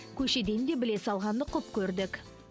көшеден де біле салғанды құп көрдік